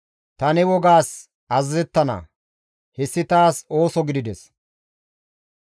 Ta ne wogaas azazettana; hessi taas ooso gidides.